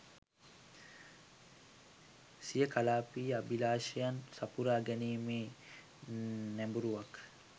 සිය කලාපීය අභිලාෂයන් සපුරා ගැනීමේ නැඹුරුවක්